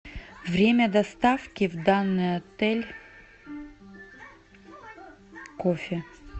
время доставки в данный отель кофе